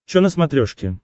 че на смотрешке